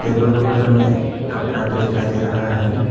Table के उपर में एक कपड़ा भी दिखाई दे रहा है।